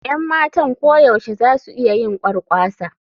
Yan matan koyaushe za su iya yin kwarkwasa.